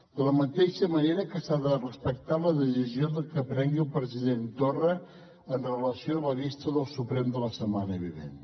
de la mateixa manera que s’ha de respectar la decisió que prengui el president torra amb relació a la vista del suprem de la setmana vinent